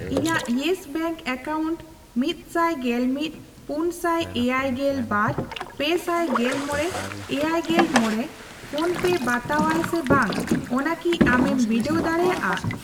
ᱤᱧᱟᱜ Yes Bank account ᱢᱤᱛᱥᱟᱭ ᱜᱮᱞᱢᱤᱫ, ᱯᱩᱱᱥᱟᱭ ᱮᱭᱟᱭᱜᱮᱞ ᱵᱟᱨ, ᱯᱮᱥᱟᱭ ᱜᱮᱞᱢᱚᱲᱮ, ᱮᱭᱟᱭᱜᱮᱞ ᱢᱚᱲᱮ ᱯᱷᱳᱱᱯᱮ ᱵᱟᱛᱟᱣᱟᱭ ᱥᱮ ᱵᱟᱝ ᱚᱱᱟ ᱠᱤ ᱟᱢᱮᱢ ᱵᱤᱰᱟᱹᱣ ᱫᱟᱲᱮᱭᱟᱜᱼᱟ ?